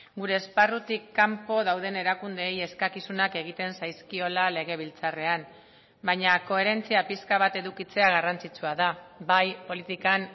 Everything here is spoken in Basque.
gure esparrutik kanpo dauden erakundeei eskakizunak egiten zaizkiola legebiltzarrean baina koherentzia pixka bat edukitzea garrantzitsua da bai politikan